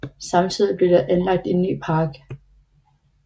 Samtidig blev der anlagt en ny park